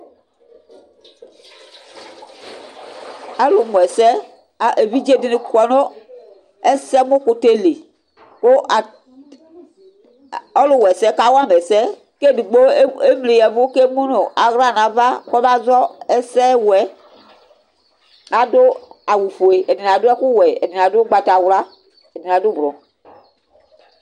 Alʋmʋɛsɛ A evidze dɩnɩ kɔ nʋ ɛsɛmʋkʋtɛ li kʋ at ɔlʋwa ɛsɛ yɛ kawa ma ɛsɛ kʋ edigbo e emliya ɛvʋ kʋ emu nʋ aɣla nʋ ava kɔmazɔ ɛsɛwʋ yɛ Adʋ awʋfue, ɛdɩnɩ adʋ ɛkʋwɛ, ɛdɩnɩ adʋ ʋgbatawla, ɛdɩnɩ adʋ ʋbro